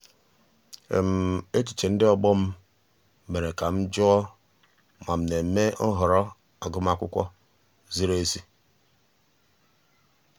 echiche ndị ọgbọ um m mere um ka m jụọ ma m na-eme nhọrọ agụmakwụkwọ ziri ezi.